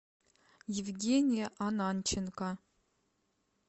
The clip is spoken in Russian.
евгения ананченко